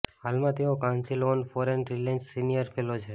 હાલમાં તેઓ council on foreign રિલેશન્સમાં સીનિયર ફેલો છે